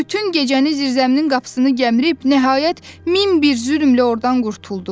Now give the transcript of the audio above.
Bütün gecəni zirzəminin qapısını gəmrib, nəhayət min bir zülmlə ordan qurtuldum.